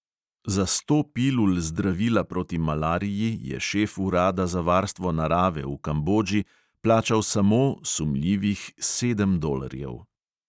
Za sto pilul zdravila proti malariji je šef urada za varstvo narave v kambodži plačal samo sedem dolarjev.